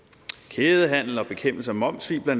kædehandel og bekæmpelse af momssvig bla